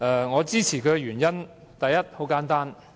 我支持她的原因很簡單。